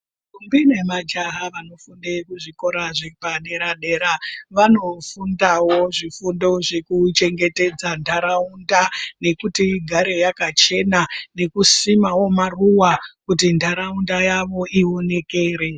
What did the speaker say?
Ndombi nemajaha vanofunde kuzvikora zvepadera-dera vanofundawo zvifundo zvekuchengetedza ntaraunda nekuti igare yakachena nekusimawo maruwa kuti ntaraunda yawo ionekere.